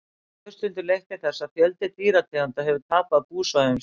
þetta hefur stundum leitt til þess að fjöldi dýrategunda hefur tapað búsvæðum sínum